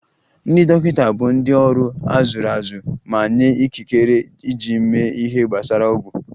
Ndị dọkịta bụ ndị ọrụ a zụrụ azụ ma nye ikikere iji mee ihe gbasara ọgwụ